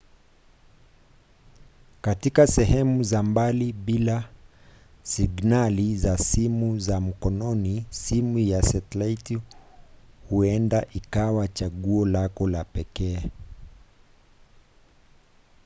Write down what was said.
katika sehemu za mbali bila signali za simu za mkononi simu ya setilaiti huenda ikawa chaguo lako la pekee